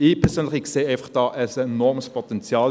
Ich persönlich sehe hier einfach ein enormes Potenzial.